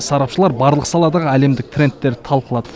сарапшылар барлық саладағы әлемдік трендтерді талқылады